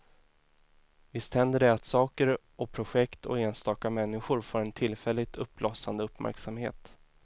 Visst händer det att saker och projekt och enstaka människor får en tillfälligt uppblossande uppmärksamhet.